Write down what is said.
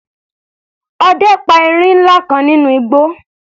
Ọdẹ pa erin ńlá kan nínú igbó.